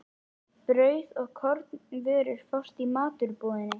Brauð og kornvörur fást í matvörubúðinni.